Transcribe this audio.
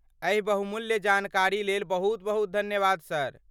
एहि बहुमूल्य जानकारी लेल बहुत बहुत धन्यवाद सर।